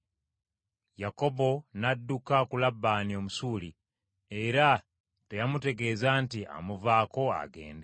Yakobo n’adduka ku Labbaani Omusuuli, era teyamutegeeza nti amuvaako agende.